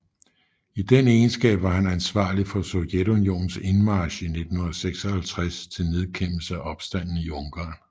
I den egenskab var han ansvarlig for Sovjetunionens indmarch i 1956 til nedkæmpelse af opstanden i Ungarn